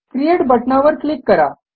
create बटणावर click करा